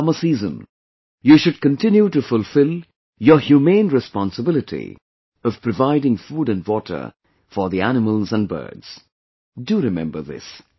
In this summer season, you should continue to fulfill your humane responsibility of providing food and water for the animals and birds...Do remember this